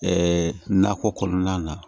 nakɔ kɔnɔna na